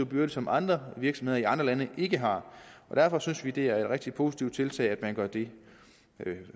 byrde som andre virksomheder i andre lande ikke har og derfor synes vi at det er et rigtig positivt tiltag at man gør det